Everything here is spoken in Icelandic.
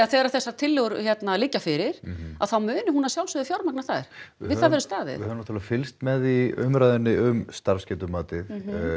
þegar þessar tillögur liggja fyrir að þá muni hún að sjálfsögðu fjármagna þær við það verður staðið við höfum náttúrulega fylgst með umræðunni um starfsgetumatið